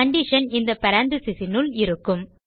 condition இந்த parenthesis இனுள் இருக்கும்